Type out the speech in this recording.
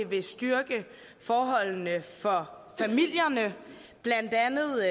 vil styrke forholdene for familierne blandt andet